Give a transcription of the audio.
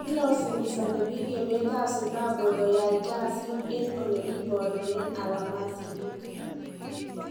Ilasimisane biik emet ab Zimbabwe koyaik kasit en ole kiborunen alamasinik